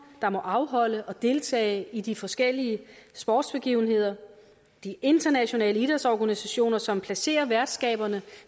der må afholde og deltage i de forskellige sportsbegivenheder de internationale idrætsorganisationer som placerer værtskaberne